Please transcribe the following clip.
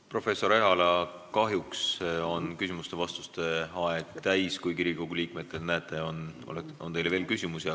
Professor Ehala, kahjuks on küsimuste-vastuste aeg täis, kuigi Riigikogu liikmetel, nagu näete, on teile veel küsimusi.